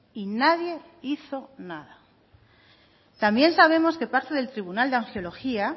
y nadie hizo nada también sabemos que parte del tribunal de angiología